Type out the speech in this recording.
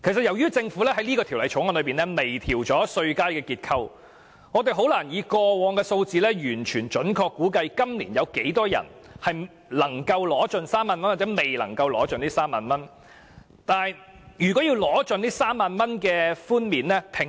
由於政府在《條例草案》中就稅階結構作出微調，所以我們很難根據過往的數字，準確估計今年有多少人能夠盡享該3萬元的稅務寬減。